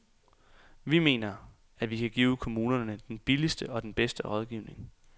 Vi mener, at vi kan give kommunerne den billigste og den bedste rådgivning.